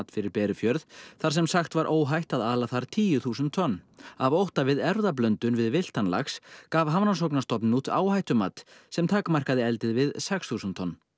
fyrir Berufjörð þar sem sagt var óhætt að ala þar tíu þúsund tonn af ótta við erfðablöndun við villtan lax gaf Hafrannsóknastofnun út áhættumat sem takmarkaði eldið við sex þúsund tonn